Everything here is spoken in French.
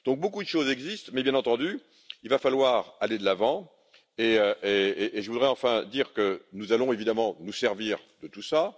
Beaucoup de choses existent mais, bien entendu, il va falloir aller de l'avant et je voudrais enfin dire que nous allons évidemment nous servir de tout cela.